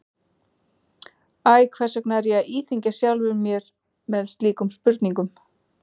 Æ, hvers vegna er ég að íþyngja sjálfum mér með slíkum spurnum?